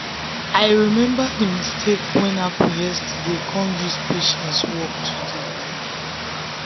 i remember the mistake wey happen yesterday kon use patience work today.